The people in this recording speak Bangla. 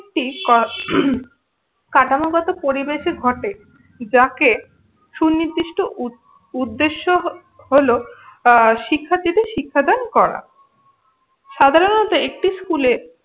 একটি কাঠামোগত পরিবেশে ঘটে যাকে সুনির্দিষ্ট উদ উদ্দ্যেশ্য হ হল আহ শিক্ষার্থীদের শিক্ষাদান করা। সাধারণত একটি স্কুলে